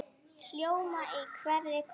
hljóma í hverri kró.